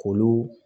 K'olu